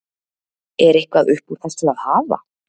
Er eitthvað upp úr þessu að hafa?